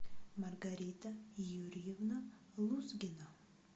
маргарита юрьевна лузгина